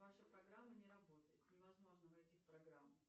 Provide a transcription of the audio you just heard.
ваша программа не работает невозможно найти программу